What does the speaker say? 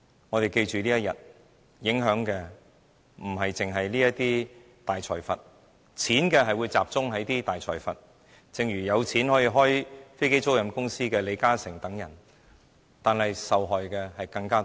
我們要記得這一天，因為該安排影響的不單是大財閥，令錢只集中大財閥身上，正如有錢可以開飛機租賃公司的李嘉誠等人，但受害的人更多。